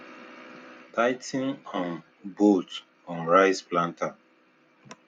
tigh ten um bolts on rice planter